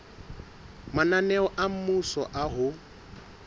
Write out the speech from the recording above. mananeo a mmuso a ho